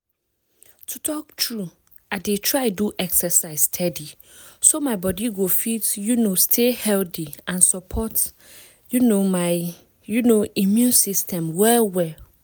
to talk true i dey try do exercise steady so my body go fit um stay healthy and support um my um immune system well well